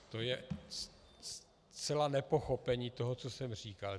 To je zcela nepochopení toho, co jsem říkal.